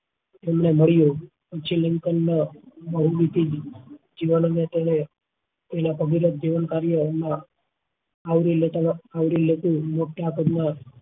એમને મળ્યું sri lankan ને તેના અમુલ્ય્ક જીવન કાર્ય ને આવરી લેતા આવરી લેતું મોટા ભાગ નું